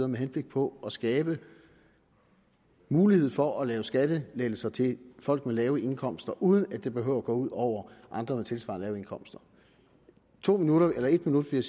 med henblik på at skabe mulighed for at lave skattelettelser til folk med lave indkomster uden at det behøver at gå ud over andre med tilsvarende lave indkomster to minutter eller en minut vil